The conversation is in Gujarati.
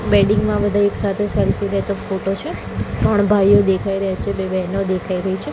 વેડિંગ મા બધા એક સાથે સેલ્ફી લેતો ફોટો છે ત્રણ ભાઇઓ દેખાય રહ્યા છે બે બહેનો દેખાય રહી છે.